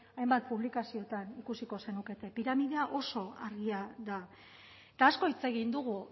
hainbat publikazioetan ikuskiko zenukete piramidea oso argia da eta asko hitz egin dugu